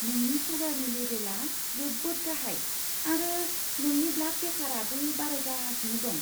नोंनि सुगारनि लेबेलआ जोबोद गाहाइ, आरो नोंनि ब्लाड प्रेसारआबो बारायगासिनो दं।